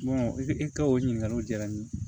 e ka o ɲininkaliw diyara n ye